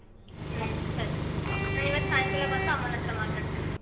ಹ್ಮ್ ಸರಿ ನಾನ್ ಇವತ್ತು ಸಾಯ್ಕಲ್ ಬಂದು ಅಮ್ಮನತ್ರ ಮಾತಾಡ್ತೀನಿ.